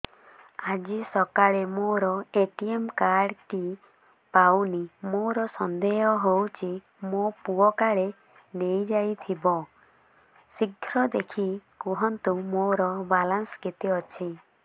ଆଜି ସକାଳେ ମୋର ଏ.ଟି.ଏମ୍ କାର୍ଡ ଟି ପାଉନି ମୋର ସନ୍ଦେହ ହଉଚି ମୋ ପୁଅ କାଳେ ନେଇଯାଇଥିବ ଶୀଘ୍ର ଦେଖି କୁହନ୍ତୁ ମୋର ବାଲାନ୍ସ କେତେ ଅଛି